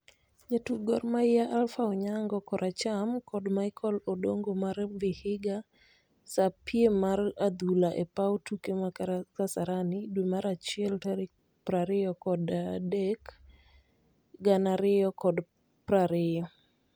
Jatuk Gor Mahia Alpha Onyango(kor acham) kod Michael Odongo mar Vihiga sa piem mar adhula e paw tuke ma kasarani dwe mar achiel tarik prariyokod adek gana ariyo kod prariyo